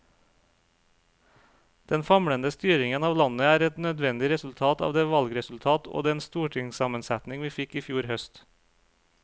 Den famlende styringen av landet er et nødvendig resultat av det valgresultat og den stortingssammensetning vi fikk i fjor høst.